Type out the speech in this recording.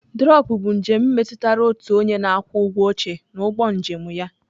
Drọpụ bụ njem metụtara otu onye na-akwụ ụgwọ oche n'ụgbọ njem ya.